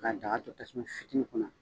Ka daga to tasuma fitinin kunna